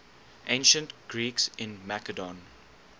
ancient greeks in macedon